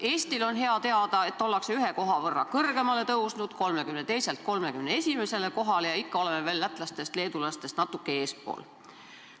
Eestil on hea teada, et oleme ühe koha võrra kõrgemale tõusnud: 32. kohalt 31. kohale, ja ikka oleme veel lätlastest-leedulastest natuke eespool.